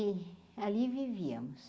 E ali vivíamos.